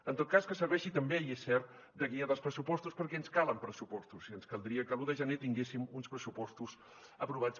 en tot cas que serveixi també i és cert de guia dels pressupostos perquè ens calen pressupostos i ens caldria que l’un de gener tinguéssim uns pressupostos aprovats